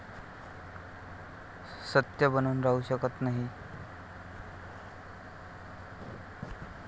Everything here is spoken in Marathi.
सत्य दबून राहू शकत नाही.